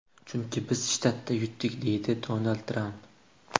Chunki biz shtatda yutdik”, deydi Donald Tramp.